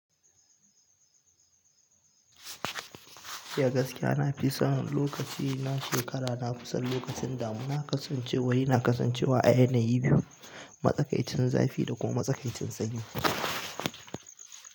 Eh askiya na fi son lokaci na shekara, na fi son lokacin damuna, kasancewar yana kasancewa a yanayi biyu, matsakaicin zafi da kuma matsakaicin sanyi.